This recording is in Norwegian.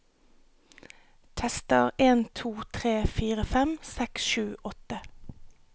Tester en to tre fire fem seks sju åtte